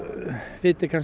viti